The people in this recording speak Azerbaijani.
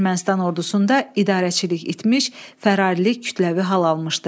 Ermənistan ordusunda idarəçilik itmiş, fərarilik kütləvi hal almışdı.